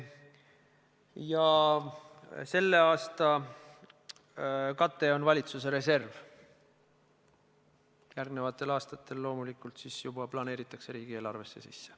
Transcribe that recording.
Ja selle aasta kate on valitsuse reserv, järgmistel aastatel loomulikult see juba planeeritakse riigieelarvesse sisse.